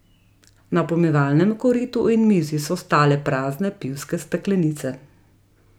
Na pomivalnem koritu in mizi so stale prazne pivske steklenice.